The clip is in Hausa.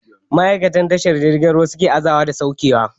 Ma'aikatun tashar jirgin suke aza da sauke kaya